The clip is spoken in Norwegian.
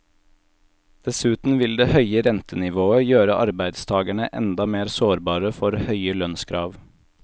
Dessuten vil det høye rentenivået gjøre arbeidstagerne enda mer sårbare for høye lønnskrav.